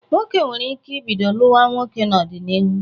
Nwoke nwere ike ibido lụwa nwoke n'ọdịnihu.